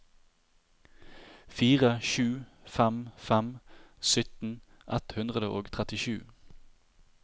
fire sju fem fem sytten ett hundre og trettisju